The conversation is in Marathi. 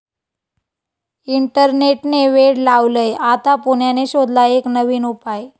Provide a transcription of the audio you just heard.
इंटरनेट'ने वेड लावलंय? आता पुण्याने शोधला एक नवीन उपाय